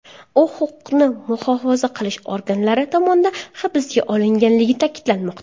U huquqni muhofaza qilish organlari tomonidan hibsga olinganligi ta’kidlanmoqda.